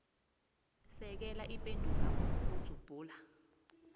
sekela ipendulwakho ngokudzubhula